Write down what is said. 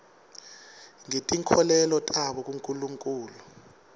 ngetinkholelo tabo kunkulunkhulu